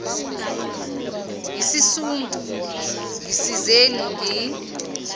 yisisu ngisizeni ngi